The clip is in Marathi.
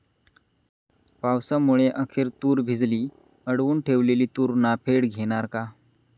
पावसामुळे अखेर तूर भिजली, अडवून ठेवलेली तूर नाफेड घेणार का?